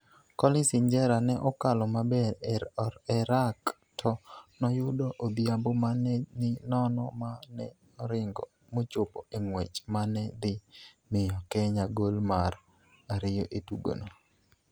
Collins Injera ne okalo maber e rack to noyudo Odhiambo ma ne ni nono ma ne oringo mochopo e ng'wech ma ne dhi miyo Kenya gol mar ariyo e tugono.